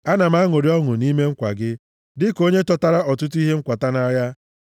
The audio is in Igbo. Ana m aṅụrị ọṅụ nʼime nkwa gị dịka onye chọtara ọtụtụ ihe nkwata nʼagha.